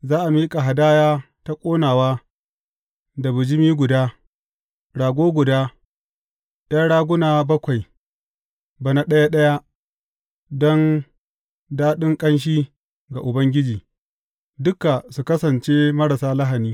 Za a miƙa hadaya ta ƙonawa da bijimi guda, rago guda, ’yan raguna bakwai, bana ɗaya ɗaya don daɗin ƙanshi ga Ubangiji, duka su kasance marasa lahani.